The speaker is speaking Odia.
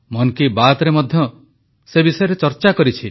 ମନ କି ବାତ୍ରେ ମଧ୍ୟ ସେ ବିଷୟରେ ଚର୍ଚ୍ଚା କରିଛି